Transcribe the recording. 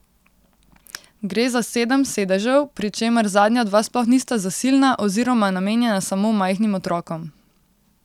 Gre za sedem sedežev, pri čemer zadnja dva sploh nista zasilna oziroma namenjena samo majhnim otrokom.